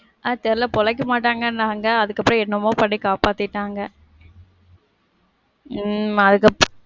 அது தெரில. பொழைக்க மாட்டாங்கனாங்க. அதுக்கப்புறம் என்னமோ பண்ணி காப்பாத்திட்டாங்க. உம் அதுக்கப்புறம்,